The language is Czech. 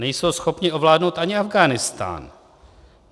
Nejsou schopni ovládnout ani Afghánistán.